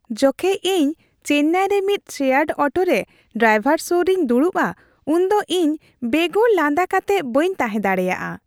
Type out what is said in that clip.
ᱡᱚᱠᱷᱮᱡ ᱤᱧ ᱪᱮᱱᱱᱟᱭ ᱨᱮ ᱢᱤᱫ ᱥᱮᱭᱟᱨᱰ ᱚᱴᱳ ᱨᱮ ᱰᱟᱭᱵᱚᱨ ᱥᱩᱨ ᱨᱮᱧ ᱫᱩᱲᱩᱵᱼᱟ ᱩᱱᱫᱚ ᱤᱧ ᱵᱮᱜᱚᱨ ᱞᱟᱸᱫᱟ ᱠᱟᱛᱮᱜ ᱵᱟᱹᱧ ᱛᱟᱦᱮᱸ ᱫᱟᱲᱮᱭᱟᱜᱼᱟ ᱾